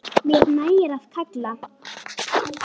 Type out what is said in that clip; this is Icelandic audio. Mér nægir að kalla.